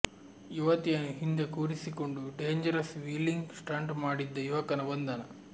ಯುವತಿಯನ್ನು ಹಿಂದೆ ಕೂರಿಸಿಕೊಂಡು ಡೇಂಜರಸ್ ವ್ಹೀಲಿಂಗ್ ಸ್ಟಂಟ್ ಮಾಡಿದ್ದ ಯುವಕನ ಬಂಧನ